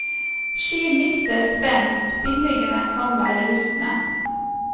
Ski mister spenst, bindingene kan være rustne.